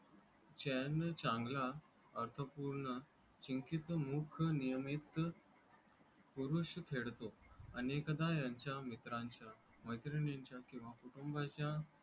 चैन चांगला अर्थ पूर्ण संकेत मुख नियमित. पुरुष खेड तो आणि एखादा यांच्या मित्रांच्या मैत्रिणी चा किंवा कुटुंबा च्या.